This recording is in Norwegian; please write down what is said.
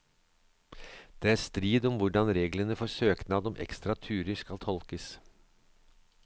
Det er strid om hvordan reglene for søknad om ekstra turer skal tolkes.